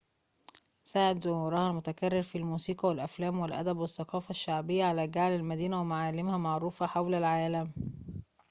ساعد ظهورها المتكرر في الموسيقى والأفلام والأدب والثقافة الشعبية على جعل المدينة ومعالمها معروفة حول العالم